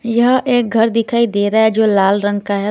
यहां एक घर दिखाई दे रहा है जो लाल रंग का है।